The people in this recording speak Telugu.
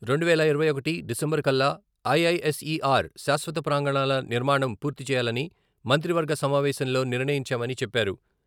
రెండువేల ఇరవై ఒకటి డిసెంబర్ కల్లా ఐఐఎస్ఈఆర్ శాశ్వత ప్రాంగణాల నిర్మాణం పూర్తి చేయాలని మంత్రివర్గ సమావేశంలో నిర్ణయించామని చెప్పారు.